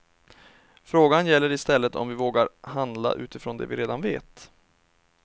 Frågan gäller istället om vi vågar handla utifrån det vi redan vet.